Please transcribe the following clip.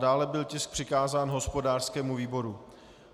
Dále byl tisk přikázán hospodářskému výboru.